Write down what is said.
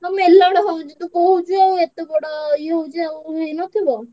ମେଳଣ ହଉଛି ଆଉ ତୁ କହୁଛୁ ଆଉ ଏତେ ବଡ ଇଏ ହଉଛି ଆଉ ହେଇନ ଥିବ।